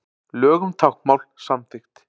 Lög um táknmál samþykkt